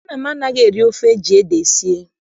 Nna m anaghị-eri ofe eji ede sie.